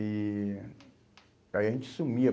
E aí a gente sumia.